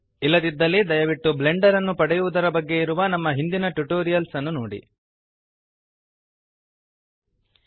ಇಲ್ಲದಿದ್ದಲ್ಲಿ ದಯವಿಟ್ಟು ಬ್ಲೆಂಡರ್ ಅನ್ನು ಪಡೆಯುವದರ ಬಗ್ಗೆ ಇರುವ ನಮ್ಮ ಹಿಂದಿನ ಟ್ಯುಟೋರಿಯಲ್ಸ್ ನೋಡಿರಿ